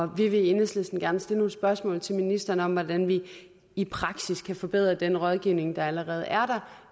vi vil i enhedslisten gerne stille nogle spørgsmål til ministeren om hvordan vi i praksis kan forbedre den rådgivning der allerede er